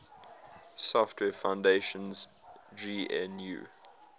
software foundation's gnu